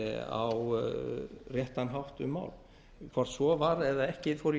á réttan hátt um mál hvort svo var eða ekki þori